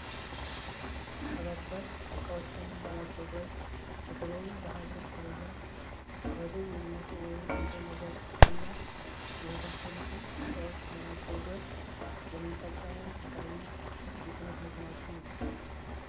ከባባድ እቃዎችን ለማጓጓዝ በተለይም በሃገር ደረጃ ከወደብ የሚመጡ ወይም እንደ ነዳጅ እና የመሳሰሉትን እቃዎች ለማጓጓዝ የምንጠቀመው ተሳቢ የጭነት መኪናዎችን ነው።